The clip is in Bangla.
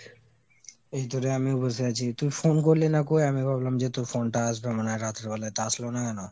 এইতো রে আমিও বসে আছি। তুই phone করলি না কৈ আমি ভাবলাম যে তোর phone টা আসবে মনে হয় রাত্র বেলায়, তা আসলোনা কেন?